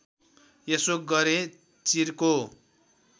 यसो गरे चिर्को